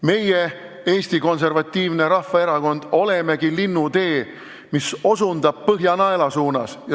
Meie, Eesti Konservatiivne Rahvaerakond, olemegi Linnutee, mis osutab Põhjanaela suunas.